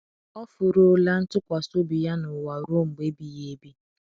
Ọ furuola ntụkwasị obi ya n’ụwa ruo mgbe ebighị ebi.